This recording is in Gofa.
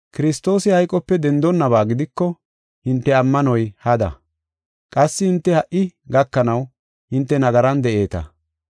Kiristoosi hayqope dendonaba gidiko, hinte ammanoy hada; qassi hinte ha77i gakanaw hinte nagaran de7eeta.